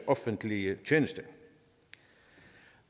offentlige tjenester